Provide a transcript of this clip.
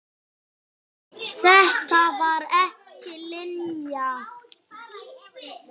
Þetta var ekki Linja.